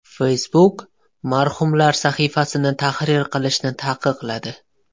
Facebook marhumlar sahifasini tahrir qilishni taqiqladi.